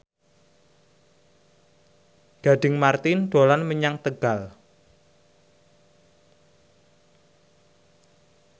Gading Marten dolan menyang Tegal